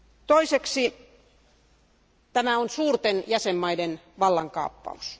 Toiseksi tämä on suurten jäsenvaltioiden vallankaappaus.